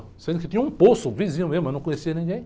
Sendo que tinha um poço, vizinho meu, mas eu não conhecia ninguém.